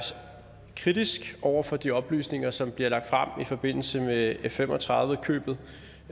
kritisk over for de oplysninger som bliver lagt frem i forbindelse med f fem og tredive købet